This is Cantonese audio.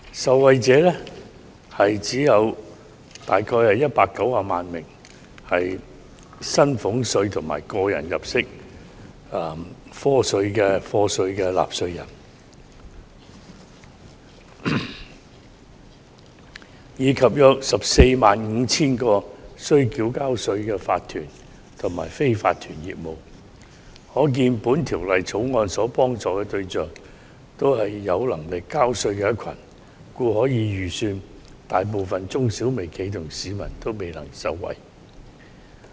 受惠者只有約190萬名薪俸稅及個人入息課稅的納稅人，以及約 145,000 個須繳稅的法團及非法團業務，可見《條例草案》幫助的對象是有能力交稅的一群，故可以預期，大部分中小微企及市民也未能受惠。